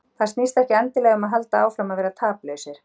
Það snýst ekki endilega um að halda áfram að vera taplausir.